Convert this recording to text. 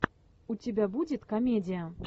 у тебя будет комедия